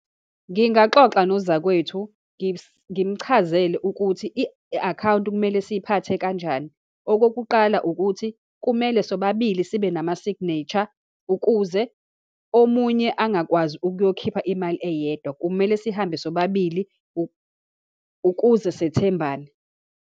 Ngingaxoxa nozakwethu, ngimchazele ukuthi i-akhawunti kumele siyiphathe kanjani. Okokuqala, ukuthi kumele sobabili sibe nama-signature ukuze omunye angakwazi ukuyokhipha imali eyedwa. Kumele sihambe sobabili ukuze sethembane.